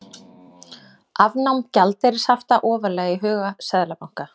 Afnám gjaldeyrishafta ofarlega í huga seðlabanka